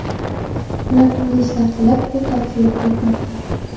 Ular turli ishlar qilib pul topish yo‘liga o‘tmoqda.